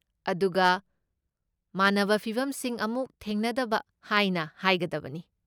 ꯑꯗꯨꯒ, ꯃꯥꯟꯅꯕ ꯐꯤꯚꯝꯁꯤꯡ ꯑꯃꯨꯛ ꯊꯦꯡꯅꯗꯕ ꯍꯥꯏꯅ ꯍꯥꯏꯒꯗꯕꯅꯤ꯫